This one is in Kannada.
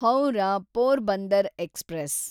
ಹೌರಾ ಪೋರ್ಬಂದರ್ ಎಕ್ಸ್‌ಪ್ರೆಸ್